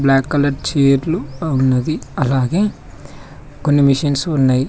Black colour చైర్లు ఉన్నవి అలాగే కొన్ని మిషిన్స్ ఉన్నై.